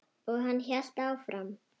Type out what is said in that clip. Og hann hélt áfram.